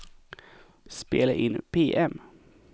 spela in PM